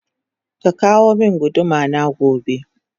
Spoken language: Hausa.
Kaka womin gudu mana gobe